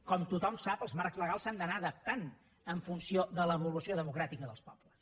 com tothom sap els marcs legals s’han d’anar adaptant en funció de l’evolució democràtica dels pobles